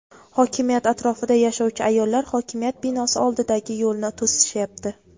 Hokimiyat atrofida yashovchi ayollar hokimiyat binosi oldidagi yo‘lni to‘sishyapti.